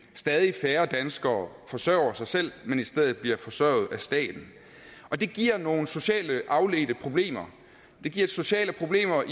at stadig færre danskere forsørger sig selv men i stedet bliver forsørget af staten det giver nogle socialt afledte problemer det giver sociale problemer